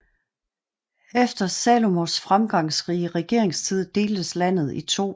Efter Salomos fremgangsrige regeringstid deltes landet i to